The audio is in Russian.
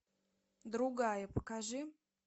другая покажи